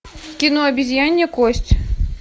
кино обезьянья кость